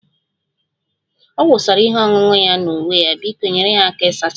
Ọ wụsara ihe ọṅụṅụ ya na uwe ya, biko nyere ya aka ịsacha